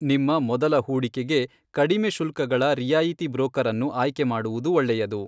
ನಿಮ್ಮ ಮೊದಲ ಹೂಡಿಕೆಗೆ ಕಡಿಮೆ ಶುಲ್ಕಗಳ ರಿಯಾಯಿತಿ ಬ್ರೋಕರ್ ಅನ್ನು ಆಯ್ಕೆ ಮಾಡುವುದು ಒಳ್ಳೆಯದು.